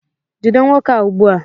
jide nwoke a ugbua!